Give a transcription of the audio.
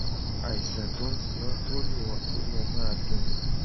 àìsàn tó ń ṣe ọ́ tó lè ọ́ tó lè máà dùn ún